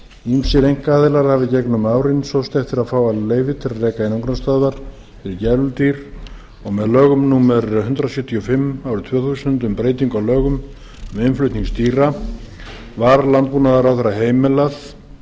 ýmsir einkaaðilar hafa í gegnum árin sóst eftir að fá leyfi til að reka einangrunarstöðvar fyrir gæludýr og með lögum númer hundrað sjötíu og fimm tvö þúsund um breytingu á lögum um innflutning dýra var landbúnaðarráðherra heimilað